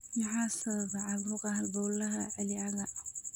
Maxaa sababa caabuqa halbowlaha celiacga?